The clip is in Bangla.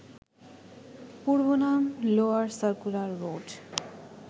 পূর্বনাম লোয়ার সার্কুলার রোড